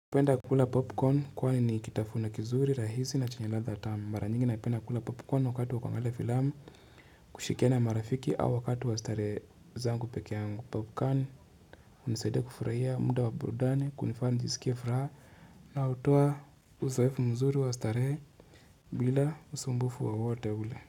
Napenda kukula popcorn kwani ni kitafuna kizuri rahisi na chanye ladha tamu mara nyingi naipenda kukula popcorn wakati wa kuangalia filamu kushirikiana marafiki au wakati wa starehe zangu peke yangu popcorn hunisaidia kufurahia muda wa burudani kunifaa njisikie furaha na hutoa uzoefu mzuri wa starehe bila usumbufu wowote ule.